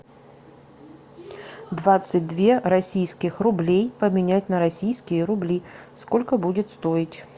двадцать две российских рублей поменять на российские рубли сколько будет стоить